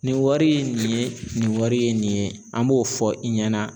Nin wari ye nin ye, nin wari ye nin ye, an b'o fɔ i ɲɛna